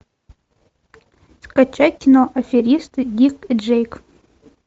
скачай кино аферисты дик и джейк